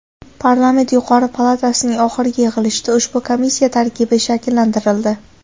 Parlament yuqori palatasining oxirgi yig‘ilishida ushbu komissiya tarkibi shakllantirildi.